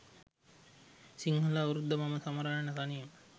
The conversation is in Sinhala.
සිංහල අවුරුද්ද මම සමරන්නේ තනියම.